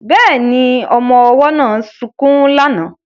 Bẹ́ẹ̀ni, ọmọ ọwọ́ náà sunkún lánàá